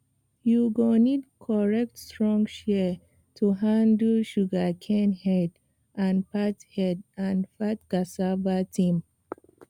you go need correct strong shears to handle sugarcane head and fat head and fat cassava stem